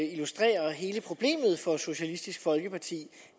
illustrerer hele problemet for socialistisk folkeparti